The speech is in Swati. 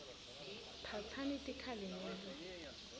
phatsani tikhali nilwe